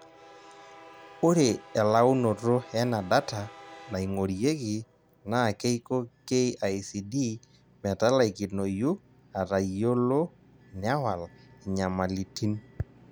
Ore elaunoto ena data naing'orieki na keiko KICD metalaikinoyu atayiolo newaal inyamalitin.